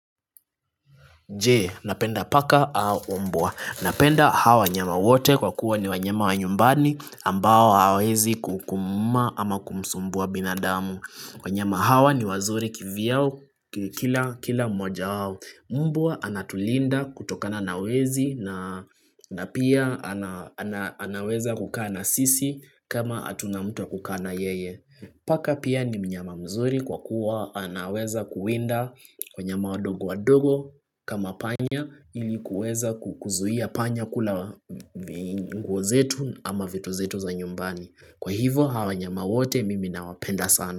Je, napenda paka au mbwa. Napenda hawa wanyama wote kwa kuwa ni wanyama wa nyumbani ambao hawezi kukumuuma kumsumbua binadamu. Wanyama hawa ni wazuri kivyao kila moja wao. Mbwa anatulinda kutokana na wezi na pia anaweza kukaa na sisi kama hatuna mut wa kukaa na yeye. Paka pia ni mnyama mzuri kwa kuwa anaweza kuwinda wanyama wadogo wadogo kama panya ilikuweza kukuzuia panya kula vinguo zetu ama vitu zetu za nyumbani. Kwa hivo hawa wanyama wote mimi na nawapenda sana.